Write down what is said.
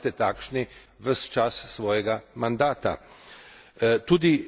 Jaz bi si želel, da ostanete takšni ves čas svojega mandata.